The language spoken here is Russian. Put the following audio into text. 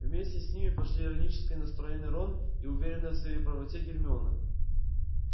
вместе с ним пошли иронически настроенный рон и уверенная в своей правоте гермиона